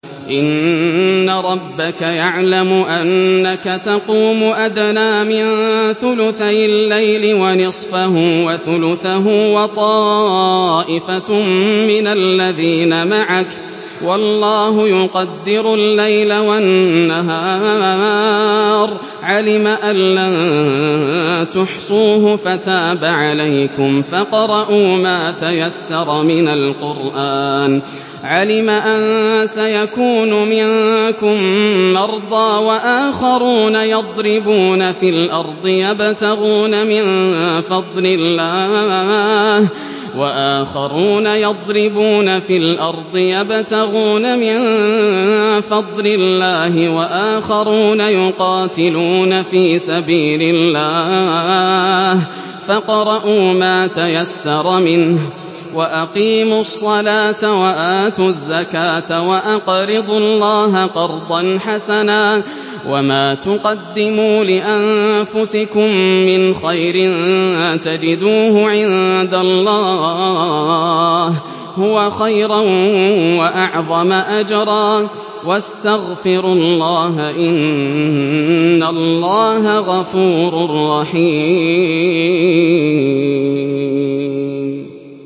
۞ إِنَّ رَبَّكَ يَعْلَمُ أَنَّكَ تَقُومُ أَدْنَىٰ مِن ثُلُثَيِ اللَّيْلِ وَنِصْفَهُ وَثُلُثَهُ وَطَائِفَةٌ مِّنَ الَّذِينَ مَعَكَ ۚ وَاللَّهُ يُقَدِّرُ اللَّيْلَ وَالنَّهَارَ ۚ عَلِمَ أَن لَّن تُحْصُوهُ فَتَابَ عَلَيْكُمْ ۖ فَاقْرَءُوا مَا تَيَسَّرَ مِنَ الْقُرْآنِ ۚ عَلِمَ أَن سَيَكُونُ مِنكُم مَّرْضَىٰ ۙ وَآخَرُونَ يَضْرِبُونَ فِي الْأَرْضِ يَبْتَغُونَ مِن فَضْلِ اللَّهِ ۙ وَآخَرُونَ يُقَاتِلُونَ فِي سَبِيلِ اللَّهِ ۖ فَاقْرَءُوا مَا تَيَسَّرَ مِنْهُ ۚ وَأَقِيمُوا الصَّلَاةَ وَآتُوا الزَّكَاةَ وَأَقْرِضُوا اللَّهَ قَرْضًا حَسَنًا ۚ وَمَا تُقَدِّمُوا لِأَنفُسِكُم مِّنْ خَيْرٍ تَجِدُوهُ عِندَ اللَّهِ هُوَ خَيْرًا وَأَعْظَمَ أَجْرًا ۚ وَاسْتَغْفِرُوا اللَّهَ ۖ إِنَّ اللَّهَ غَفُورٌ رَّحِيمٌ